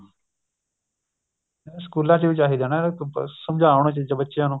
ਸਕੂਲਾ ਚ ਵੀ ਚਾਹੀਦਾ ਨਾ ਸਮਜਾਉਣ ਚੀਜ਼ਾਂ ਬੱਚਿਆਂ ਨੂੰ